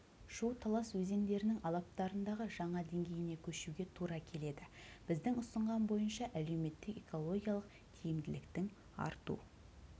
шу-талас өзендерінің алаптарындағы жаңа деңгейіне көшуге тура келеді біздің ұсынған бойынша әлеуметтік-экологиялық тиімділіктің арту